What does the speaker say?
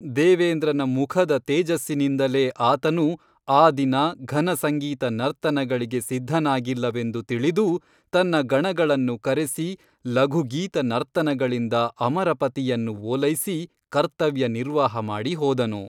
ದೇವೇಂದ್ರನ ಮುಖದ ತೇಜಸ್ಸಿನಿಂದಲೇ ಆತನು ಆ ದಿನ ಘನಸಂಗೀತ ನರ್ತನಗಳಿಗೆ ಸಿದ್ಧನಾಗಿಲ್ಲವೆಂದು ತಿಳಿದು ತನ್ನ ಗಣಗಳನ್ನು ಕರೆಸಿ ಲಘುಗೀತ ನರ್ತನಗಳಿಂದ ಅಮರಪತಿಯನ್ನು ಓಲೈಸಿ ಕರ್ತವ್ಯ ನಿರ್ವಾಹಮಾಡಿ ಹೋದನು.